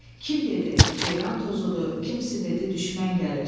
Kim dedi: Ceyran tozudur, kimsi dedi: Düşmən gəlir.